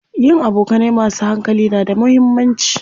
Yin abokanai masu hankali na da muhimmanci.